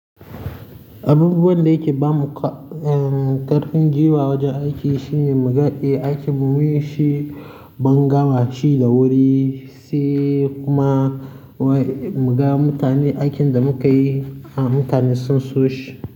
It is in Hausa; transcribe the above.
Abubuwan da yake ba mu ko uhm ƙarfin guiwa wajen aiki shine muga a aikin mu mun yi shi mun gama shi da wuri sai kuma--- Muga mutanen aikin da muka yi a mutane sun so shi.